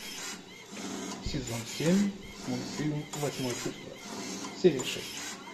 сезон семь мультфильм восьмое чувство серия шесть